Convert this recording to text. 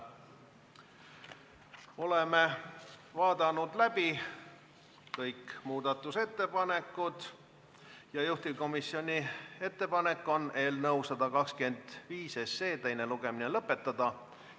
Oleme vaadanud läbi kõik muudatusettepanekud ja juhtivkomisjoni ettepanek on eelnõu 125 teine lugemine lõpetada.